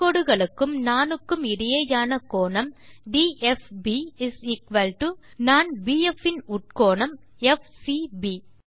தொடு கோடுகளுக்கும் நாணுக்கும் இடையேயான கோணம் டிஎஃப்பி நாண் பிஎஃப் இன் உட்கோணம் எஃப்சிபி